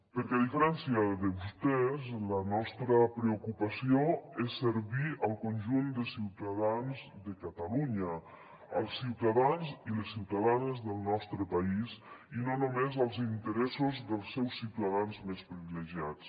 perquè a diferència de vostès la nostra preocupació és servir el conjunt de ciutadans de catalunya els ciutadans i les ciutadanes del nostre país i no només els interessos dels seus ciutadans més privilegiats